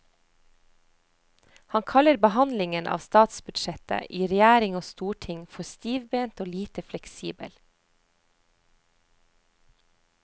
Han kaller behandlingen av statsbudsjettet i regjering og storting for stivbent og lite fleksibel.